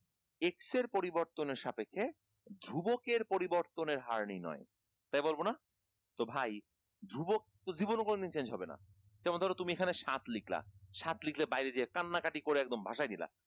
x এর পরিবর্তনের সাপেক্ষে ধ্রুবকের পরিবর্তনের হার নির্নয় তাই বলবো না? তো ভাই ধ্রুবক তো জীবনে কোনোদিন change হবে না যেমন ধরো তুমি এখানে সাত লিখলা সাত লিখে বাইরে যেয়ে কান্না কাটি করে একদম ভাসায় দিলা